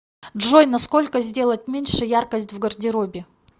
джой на сколько сделать меньше яркость в гардеробе